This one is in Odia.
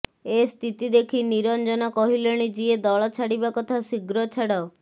ଏ ସ୍ଥିତି ଦେଖି ନିରଂଜନ କହିଲେଣି ଯିଏ ଦଳ ଛାଡ଼ିବା କଥା ଶୀଘ୍ର ଛାଡ଼